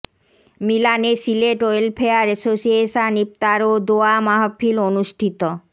মিলানে Sylhet welfare association ইফতার ও দোয়া মাহফিল অনুষ্ঠিত